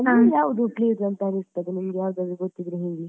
ಯಾವುದು place ಅಂತ ಅನಿಸ್ತದೆ ನಿಮಗೆ ಯಾವುದಾದರೂ ಗೊತ್ತಿದ್ರೆ ಹೇಳಿ?